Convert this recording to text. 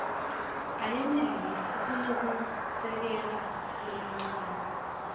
ayenelisi kunekusekela lokuncane